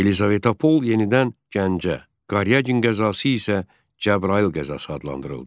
Yelizavetpol yenidən Gəncə, Qaryagin qəzası isə Cəbrayıl qəzası adlandırıldı.